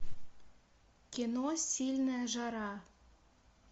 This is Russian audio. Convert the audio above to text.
кино сильная жара